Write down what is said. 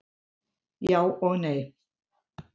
Já og nei